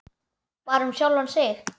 Bara um sjálfan sig.